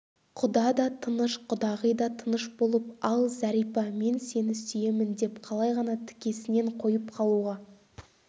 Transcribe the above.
құда да тыныш құдағи да тыныш болып ал зәрипа мен сені сүйемін деп қалай ғана тікесінен қойып қалуға